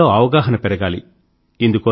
ప్రజల్లో అవగాహన పెరగాలి